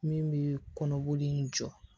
Min bɛ kɔnɔboli in jɔ